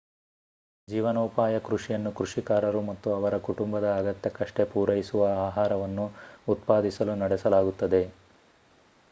ಜೀವನೋಪಾಯ ಕೃಷಿಯನ್ನು ಕೃಷಿಕಾರರು ಮತ್ತು ಅವರ ಕುಟುಂಬದ ಅಗತ್ಯಕ್ಕಷ್ಟೇ ಪೂರೈಸುವ ಆಹಾರವನ್ನು ಉತ್ಪಾದಿಸಲು ನಡೆಸಲಾಗುತ್ತದೆ